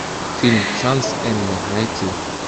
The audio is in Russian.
фильм шанс эммы найти